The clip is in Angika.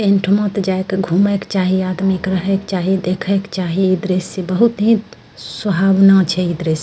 इंठोमा त जाय क घुमैक छायी आदमी क रहे क चाही देखे क चाही इ दृश्य बहुत ही सुहावना छे इ दृश्य।